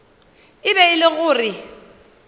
e be e le gore